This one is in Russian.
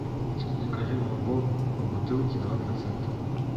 закажи молоко в бутылке два процента